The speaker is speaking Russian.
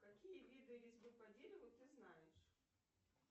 какие виды резьбы по дереву ты знаешь